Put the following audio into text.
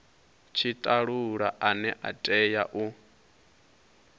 tshitalula ane a tea u